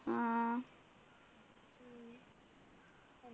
ആഹ്